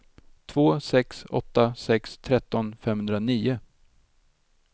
två sex åtta sex tretton femhundranio